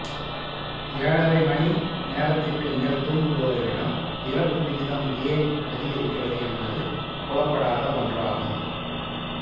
ஏழரை மணி நேரத்திற்கு மேல் தூங்குபவர்களிடம் இறப்பு விகிதம் ஏன் அதிகரிக்கிறது என்பது புலப்படாத ஒன்றாகும்